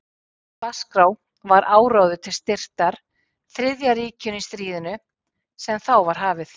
Á dagskrá var áróður til styrktar Þriðja ríkinu í stríðinu, sem þá var hafið.